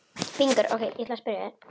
Hann átti að fara að byrja í skólanum.